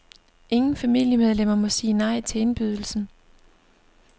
Ingen familiemedlemmer må sige nej til indbydelsen.